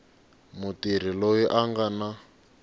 mutirhi loyi a nga na